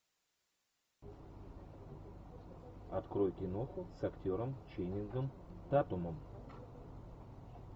открой киноху с актером ченнингом татумом